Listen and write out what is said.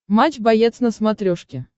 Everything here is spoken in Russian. матч боец на смотрешке